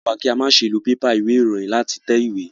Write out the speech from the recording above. Wọ́n kọ́ wa kí a ma se lo pépà ìwé ìròyìn láti tẹ ìwé